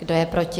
Kdo je proti?